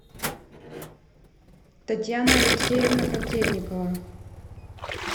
татьяна алексеевна котельникова